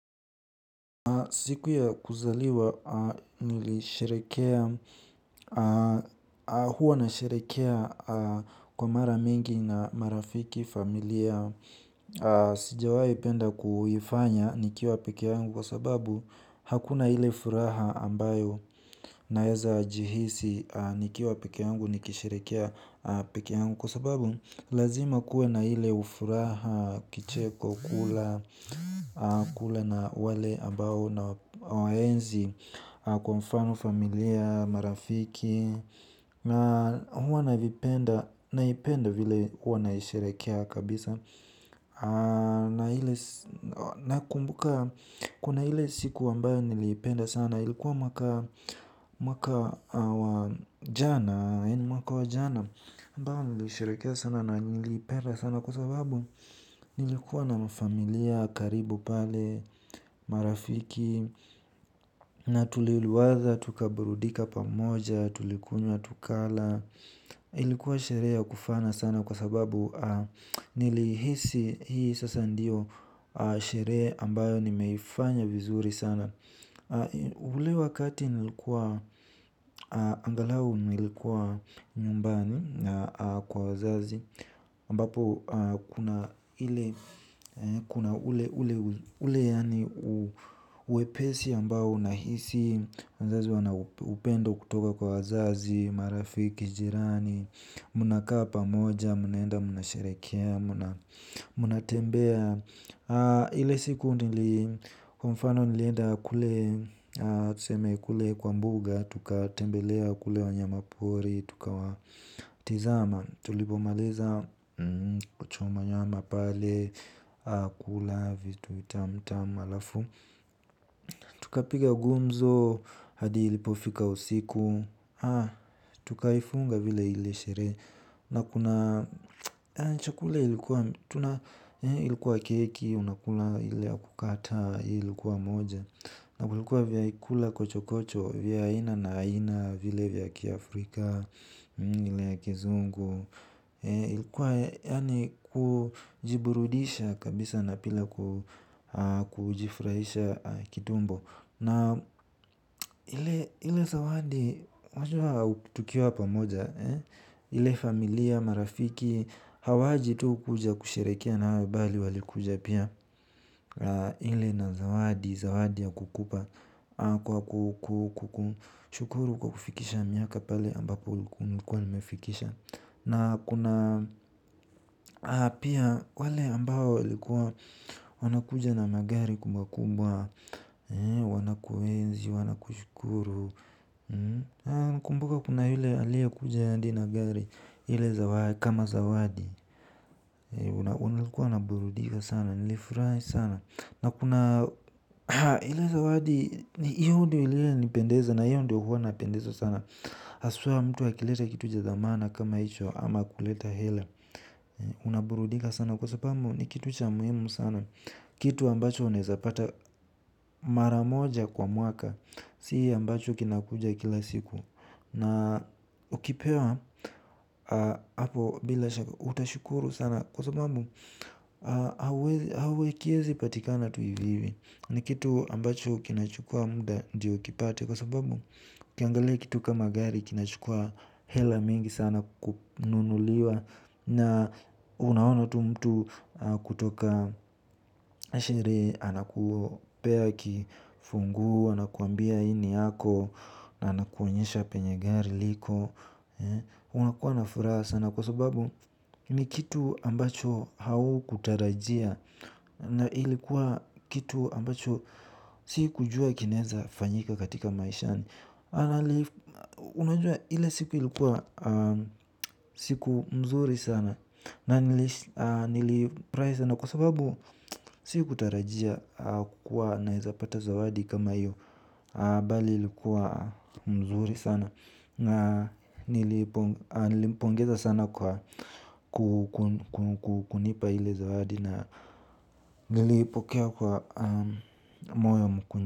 Siku ya kuzaliwa nilisherehekea huwa nasherehekea kwa mara mingi na marafiki, familia. Sijawahi penda kuifanya nikiwa pekee yangu kwa sababu hakuna ile furaha ambayo naweza jihisi nikiwa pekee yangu nikisherehekea pekee yangu. Kwa sababu, lazima kuwe na ile furaha, kicheko, kula, kula na wale ambao nawaenzi kwa mfano familia, marafiki. Na huwa nalipenda, naipenda vile huwa naisherehekea kabisa. Na ile, nakumbuka, kuna ile siku ambayo nilipenda sana na ilikuwa mwaka wajana ambawo nilishirekea sana na nilipera sana. Kwa sababu nilikuwa na mafamilia, karibu pale, marafiki. Na tuliliwaza, tukaburudika pamoja, tulikunywa, tukala. Ilikuwa sherea kufana sana kwa sababu nilihisi hii sasa ndiyo shere ambayo nimeifanya vizuri sana. Ule wakati nilikuwa angalau nilikuwa nyumbani kwa wazazi ambapo kuna ule ule yani uwepesi ambao unahisi. Wazazi wana upendo kutoka kwa wazazi, marafiki, jirani. Muna kapa moja, munaenda, muna sherekea, muna tembea. Ile siku nili kwa mfano nilienda kule tuseme kule kwa mbuga. Tuka tembelea kule wanyama pori. Tuka watizama tulivomaliza choma nyama pale. Kula vitu tamu tamu alafu tukapiga gumzo hadi ilipofika usiku. Tukaifunga vile ile sherehe. Na kuna chakula ilikuwa ilikuwa keki, unakula ile ya kukata, ilikuwa moja. Na kulikuwa vyakula kochokocho, vya aina na aina, vile vya kiafrika, ile ya kizungu. Ilikuwa yaani kujiburudisha kabisa na pila kujifurahisha kitumbo. Na ile zawadi, wajua tukiwa pamoja, ile familia, marafiki, hawaji tu kuja kusherehekea nawe bali walikuja pia. Ile na zawadi, zawadi ya kukupa, kwa kukushukuru kwa kufikisha miaka pale ambapo nilikuwa nimefikisha. Na kuna pia wale ambao walikuwa wanakuja na magari kubwa kubwa. Wanakuenzi, wanakushukuru nakumbuka kuna yule aliyekuja hadi na gari kama zawadi. Walikuwa wanaburudika sana, nilifurahi sana. Na kuna ile zawadi, hiyo ndiyo iliyonipendeza na hiyo ndiyo huwa napendezwa sana haswa mtu akileta kitu cha dhamana kama hicho ama kuleta hela. Unaburudika sana kwa sababu ni kitu cha muhimu sana. Kitu ambacho unaezapata maramoja kwa mwaka. Si ambacho kinakuja kila siku. Na ukipewa hapo bila shaka utashukuru sana. Kwa sababu hakiezipatikana tu hivihivi ni kitu ambacho kinachukua muda ndio ukipate kwa sababu ukiangalia kitu kama gari kinachukua hela mingi sana kununuliwa na unaona tu mtu kutoka sherehe, anakupea kifunguo, anakuambia hii ni yako. Na anakuonyesha penye gari liko. Unakuwa na furaha sana kwa sababu ni kitu ambacho haukutarajia na ilikuwa kitu ambacho sikujua kinaweza fanyika katika maishani unajua ile siku ilikuwa siku mzuri sana na nilifurahi sana kwa sababu sikutarajia kukua naezapata zawadi kama hiyo. Bali ilikuwa mzuri sana na nilimpongeza sana kukunipa ile zawadi na nilipokea kwa moyo mkunjufu.